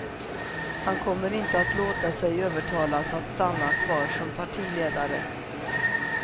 Han kommer inte att låta sig övertalas att stanna kvar som partiledare.